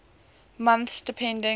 months depending